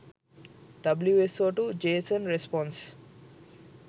wso2 json response